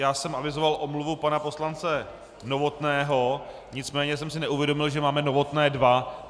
Já jsem avizoval omluvu pana poslance Novotného, nicméně jsem si neuvědomil, že máme Novotné dva.